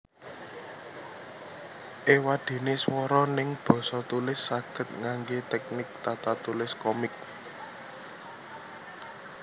Ewadene swara neng basa tulis saged ngangge teknik tatatulis komik